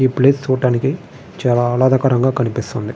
ఈ ప్లేస్ చూడడానికీ చాలా ఆహ్లదకరముగా కనిపిస్తోంది.